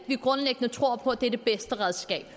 vi grundlæggende tror på at det er det bedste redskab